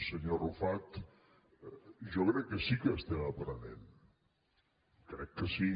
senyor arrufat jo crec que sí que n’estem aprenent crec que sí